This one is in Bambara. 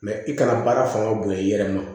Mɛ i kana baara fanga bonya i yɛrɛ ma